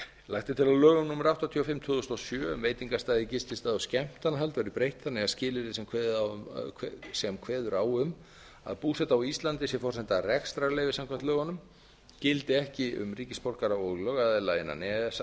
lagt er til að lögum númer áttatíu og fimm tvö þúsund og sjö um veitingastaði gististaði og skemmtanahald verði breytt þannig að skilyrði sem kveður á um að búseta á íslandi sé forsenda rekstrarleyfis samkvæmt lögunum gildi ekki um ríkisborgara og lögaðila innan e e s